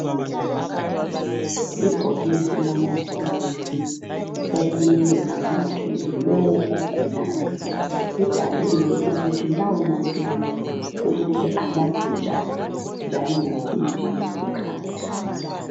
Ibhokisi lamaphilisi okumelwe anathwe ngulowo ogulayo libhaliwe ukuthi lawa maphilisi kumele anathwe njani njalo ngasiphi isikhathi.